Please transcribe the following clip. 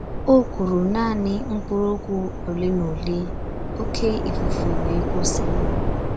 O kwuru naanị mkpụrụ okwu ole na ole, oké ifufe wee kwụsị.